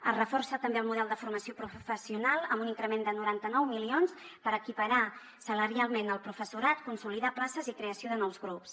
es reforça també el model de formació professional amb un increment de noranta nou milions per equiparar salarialment el professorat consolidar places i creació de nous grups